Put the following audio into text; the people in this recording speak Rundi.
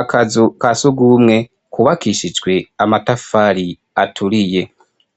Akazu ka sugumwe kubakishijwe amatafari aturiye,